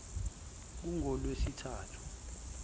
kungolwesithathu